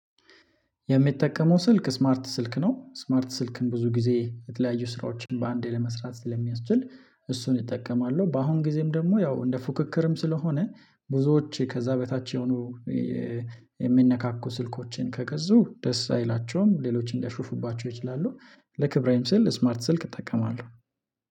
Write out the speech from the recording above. የሚጠቀመው ስልክ ስማርት ስልክ ነው ስማርት ስልክን ብዙ ጊዜ የተለያዩ ስራዎችን በአንዴ ለመስራት ስለሚያስችል እሱን እጠቀማሉ በአሁን ጊዜም ደግሞ ያው እንደ ፉክክርም ስለሆነ ብዙዎች ከዚያ በታች የሆኑ የሚነካኩ ስልኮችን ከገዛው ደስ አይላቸውም ሌሎችን እንዲያሾፉባቸው ይችላሉ። ለክብሬም ስል ስማርት ስልክ እጠቀማለሁ።